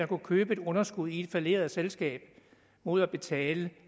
kunne købe et underskud i et falleret selskab mod at betale